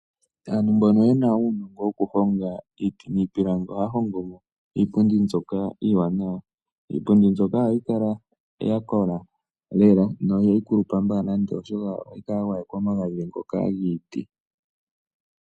Aantu mbono yena uunongo woku honga iiti niipilangi ohaya hongomo iipundi mbyoka iiwanawa. Iipundi mbyoka ohayi kala yakola lela yo ihayi kulupa mbala oshoka ohayi gwayekwa omagadhi giiti.